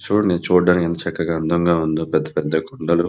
చూడండి చూడటానికి ఎంత చక్కగా అందంగా ఉందో పెద్ధ పెద్ధ కొండలు --